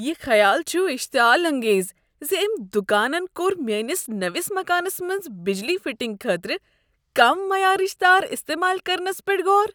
یہ خیال چھ اشتعال انگیز ز أمۍ دکانن کوٚر میٲنس نٔوس مکانس منٛز بجلی فٹنگہِ خٲطرٕ کم معیارٕچ تار استعمال کرنس پٮ۪ٹھ غور۔